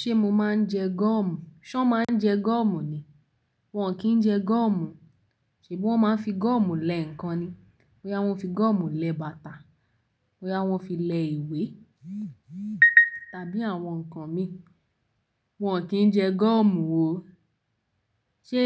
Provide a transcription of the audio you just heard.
Ṣé mo máa ń jẹ gum? Ṣọ máa ń jẹ gum ni? Wọn kì í jẹ gum. Ṣèbi wón máa ń fi gum lẹ ǹkan ni. Bóyá wọ́n fi gum lẹ bàtà, bóyá wọ́n fi lẹ ìwé, tàbí àwọn nǹkan mi. Wọn kì í jẹ gum o. Ṣé